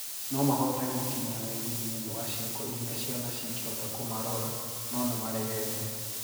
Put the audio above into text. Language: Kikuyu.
Noo mahote gũkinyia wendi thiinie wa cieko iria ciana cingehota kũmarora, noo nimaregete.